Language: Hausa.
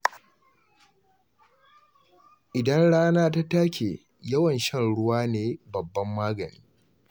Idan rana ta take, yawan shan ruwa ne babban magani.